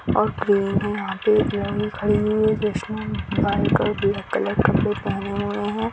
और ग्रीन है यहाँ पे एक लड़की खड़ी हुई है जिसने व्हाइट और ब्लैक कलर के कपड़े पहने हुए हैं।